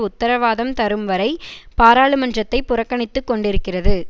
உத்தரவாதம் தரும் வரை பாராளுமன்றத்தைப் புறக்கணித்துக் கொண்டிருக்கிறது